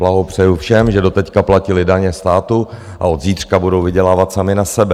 Blahopřeji všem, že doteď platili daně státu a od zítřka budou vydělávat sami na sebe.